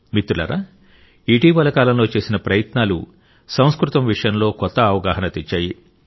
మిత్రులారా ఇటీవలి కాలంలో చేసిన ప్రయత్నాలు సంస్కృతం విషయంలో కొత్త అవగాహన తెచ్చాయి